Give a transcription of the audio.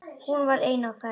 Hún var ein á ferð.